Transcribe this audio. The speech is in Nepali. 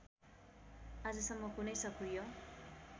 आजसम्म कुनै सक्रिय